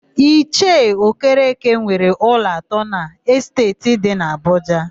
Ichie Okereke nwere ụlọ atọ n'Esteeti dị n'Abụja.